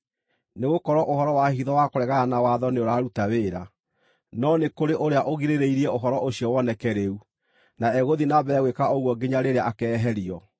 Nĩgũkorwo ũhoro wa hitho wa kũregana na watho nĩũraruta wĩra; no nĩ kũrĩ ũrĩa ũgirĩrĩirie ũhoro ũcio woneke rĩu, na egũthiĩ na mbere gwĩka ũguo nginya rĩrĩa akeeherio.